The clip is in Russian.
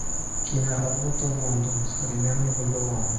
киноработа лондон современный вавилон